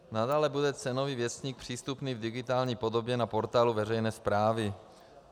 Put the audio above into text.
Nadále bude Cenový věstník přístupný v digitální podobě na portálu veřejné správy.